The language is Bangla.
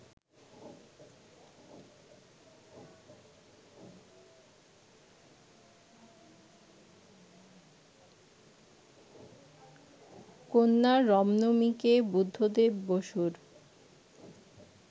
কন্যা রম্নমিকে বুদ্ধদেব বসুর